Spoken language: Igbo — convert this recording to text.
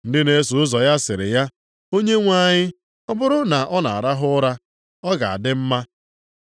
Ndị na-eso ụzọ ya sịrị ya, “Onyenwe anyị, ọ bụrụ na ọ na-arahụ ụra, ọ ga-adị mma.”